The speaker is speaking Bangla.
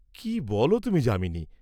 কি বল তুমি যামিনী!